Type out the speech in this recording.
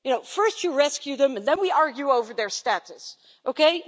First, you rescue them and then we argue over their status, Okay?